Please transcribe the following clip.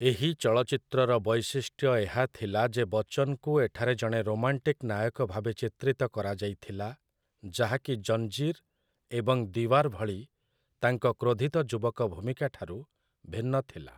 ଏହି ଚଳଚ୍ଚିତ୍ରର ବୈଶିଷ୍ଟ୍ୟ ଏହା ଥିଲା ଯେ ବଚ୍ଚନ୍‌ଙ୍କୁ ଏଠାରେ ଜଣେ ରୋମାଣ୍ଟିକ୍ ନାୟକ ଭାବେ ଚିତ୍ରିତ କରାଯାଇଥିଲା, ଯାହାକି 'ଜଞ୍ଜିର୍' ଏବଂ 'ଦିୱାର୍' ଭଳି ତାଙ୍କ 'କ୍ରୋଧିତ ଯୁବକ' ଭୂମିକାଠାରୁ ଭିନ୍ନ ଥିଲା ।